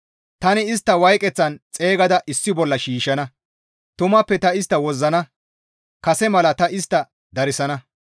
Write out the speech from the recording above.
Tani istta wayqeththan xeygada issi bolla shiishshana; tumappe ta istta wozzana; kase mala ta istta darsana.